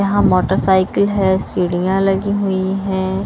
यहाँ मोटरसाइकिल है सीढ़ियाँ लगी हुई हैं।